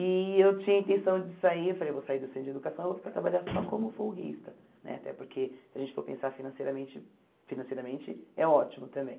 E eu tinha a intenção de sair, eu falei, eu vou sair do centro de educação, eu vou ficar trabalhando só como folguista, né, até porque se a gente for pensar financeiramente, financeiramente é ótimo também.